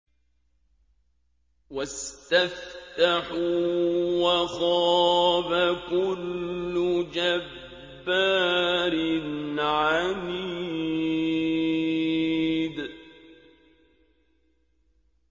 وَاسْتَفْتَحُوا وَخَابَ كُلُّ جَبَّارٍ عَنِيدٍ